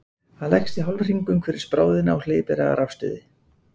hann leggst í hálfhring umhverfis bráðina og hleypir af rafstuði